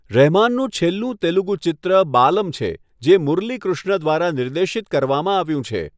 રહેમાનનું છેલ્લું તેલુગુ ચલચિત્ર 'બાલમ' છે, જે મુરલીકૃષ્ણ દ્વારા નિર્દેશિત કરવામાં આવ્યું છે.